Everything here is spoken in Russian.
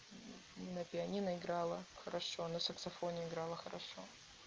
на пианино играла хорошо на саксофоне играла хорошо